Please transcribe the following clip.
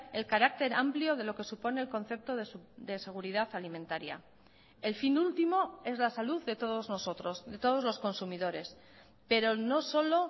el carácter amplio de lo que supone el concepto de seguridad alimentaria el fin último es la salud de todos nosotros de todos los consumidores pero no solo